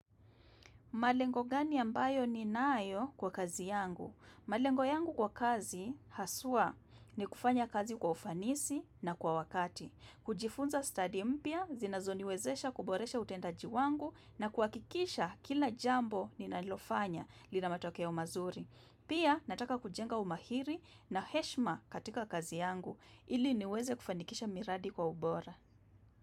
Malengo gani ambayo ni nayo kwa kazi yangu? Malengo yangu kwa kazi haswa ni kufanya kazi kwa ufanisi na kwa wakati. Kujifunza study mpya, zinazoniwezesha kuboresha utendaji wangu na kuhakikisha kila jambo ni nalilofanya lina matokeo mazuri. Pia nataka kujenga umahiri na heshma katika kazi yangu ili niweze kufanikisha miradi kwa ubora.